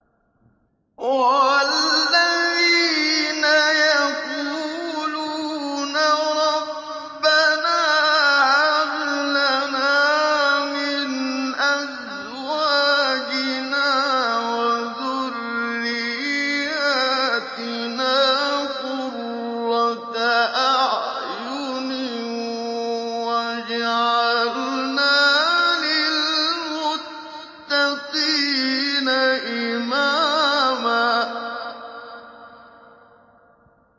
وَالَّذِينَ يَقُولُونَ رَبَّنَا هَبْ لَنَا مِنْ أَزْوَاجِنَا وَذُرِّيَّاتِنَا قُرَّةَ أَعْيُنٍ وَاجْعَلْنَا لِلْمُتَّقِينَ إِمَامًا